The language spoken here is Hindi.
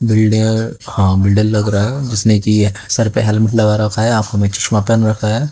बिल्डिंग हां बिल्डर लग रहा है जिसने कि सर पे हेलमेट लगा रखा है आंखों में चश्मा पहना है।